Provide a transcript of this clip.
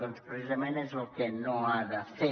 doncs precisament és el que no ha de fer